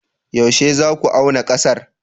Yaushe za ku auna ƙasar?